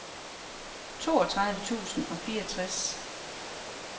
toogtredive tusind og fireogtres